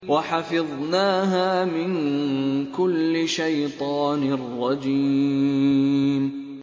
وَحَفِظْنَاهَا مِن كُلِّ شَيْطَانٍ رَّجِيمٍ